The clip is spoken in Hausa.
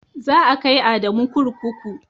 Za a kai Adamu kurkuku.